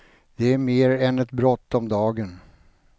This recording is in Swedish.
Det är mer än ett brott om dagen.